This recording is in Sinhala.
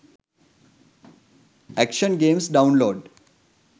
action games download